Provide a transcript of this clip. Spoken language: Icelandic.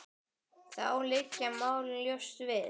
Þá liggja málin ljóst fyrir.